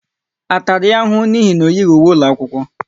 A tara ya ahụhụ n'ihi na o yighi uwe ụlọ akwụkwọ?